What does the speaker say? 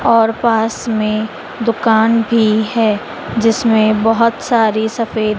और पास में दुकान भी है जिसमें बहोत सारी सफेद--